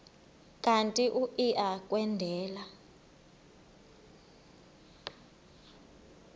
kanti uia kwendela